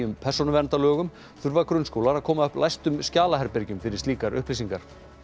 persónuverndarlögum þurfa grunnskólar að koma upp læstum fyrir slíkar upplýsingar